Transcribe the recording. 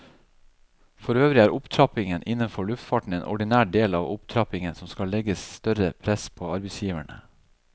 Forøvrig er opptrappingen innenfor luftfarten en ordinær del av opptrappingen som skal legge større press på arbeidsgiverne.